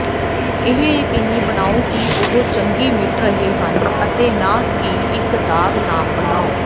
ਇਹ ਯਕੀਨੀ ਬਣਾਓ ਕਿ ਉਹ ਚੰਗੀ ਮਿਟ ਰਹੇ ਹਨ ਅਤੇ ਨਾ ਇੱਕ ਦਾਗ ਨਾਮ ਬਣਾਓ